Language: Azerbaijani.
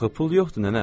Axı pul yoxdur nənə.